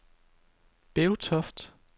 Bevtoft